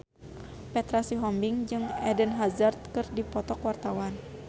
Petra Sihombing jeung Eden Hazard keur dipoto ku wartawan